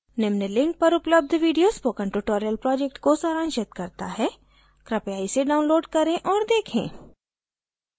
निम्न link पर उपलब्ध video spoken tutorial project को सारांशित करता है कृपया इसे download करें और देखें